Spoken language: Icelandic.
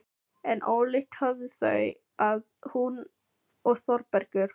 En ólíkt höfðust þau að, hún og Þórbergur.